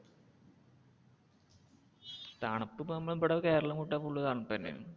തണുപ്പ്പ്പം നമ്മുടെ ബടെ കേരളം വിട്ടാൽ full തണുപ്പ്ന്നെയാണ്.